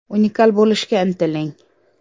Unikal bo‘lishga intiling.